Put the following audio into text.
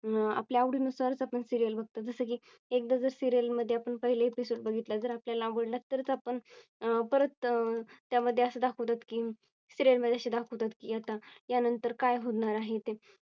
अं आपल्या आवडीनुसारच आपण Serial बघातात. जसं की एकदा जर Serial मध्ये आपण पहिला Episode बघितला जर आपल्याला आवडला तरच आपण परत त्या मध्ये असे दाखवतात की Serial मध्ये असे दाखवतात की आता यानंतर काय होणार आहे ते